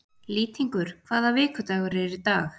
Lýtingur, hvaða vikudagur er í dag?